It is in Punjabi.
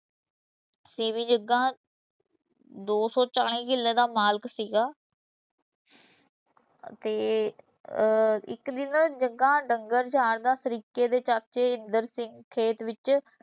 ਸੀ ਵੀ ਜੱਗਾ ਦੋ ਸੌ ਚਾਲੀ ਕਿੱਲੇ ਦਾ ਮਾਲਕ ਸੀਗਾ ਤੇ ਅਹ ਇਕ ਦਿਨ ਜੱਗਾ ਡੰਗਰ ਚਾਰਦਾ ਸ਼ਰੀਕੇ ਦੇ ਚਾਚੇ ਇੰਦਰ ਸਿੰਘ ਖੇਤ ਵਿੱਚ